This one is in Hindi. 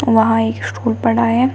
वहां एक स्टूल पड़ा हुआ है।